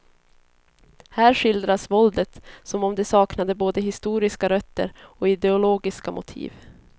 Här skildras våldet som om det saknade både historiska rötter och ideologiska motiv.